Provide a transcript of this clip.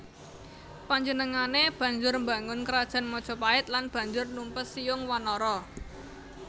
Panjenengané banjur mbangun Krajan Majapait lan banjur numpes Siyung Wanara